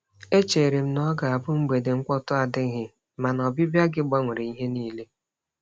E chere m na ọ ga-abụ mgbede mkpọtụ adịghị, mana ọbịbịa gị gbanwere ihe niile.